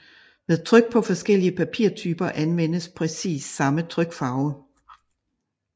Ved tryk på forskellige papirtyper anvendes præcis samme trykfarve